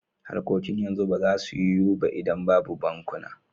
Harkokin yanzu ba za su yiwu ba idan babu bankuna.